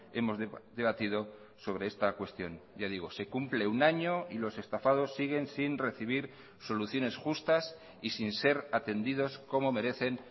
hemos debatido sobre esta cuestión ya digo se cumple un año y los estafados siguen sin recibir soluciones justas y sin ser atendidos como merecen